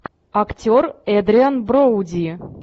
актер эдриан броуди